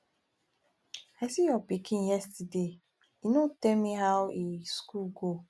i see your pikin yesterday e no tell me how e school go